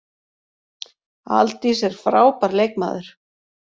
Aldís er frábær leikmaður.